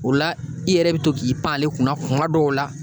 O la i yɛrɛ be to k'i pan ale kunna kuma dɔw la